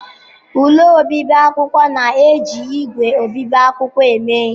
Ụlọ obibi akwụkwọ na-eji ígwè obibi akwụkwọ eme ihe.